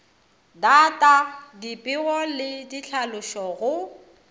data dipego le ditlhalošo go